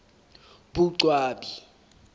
boqwabi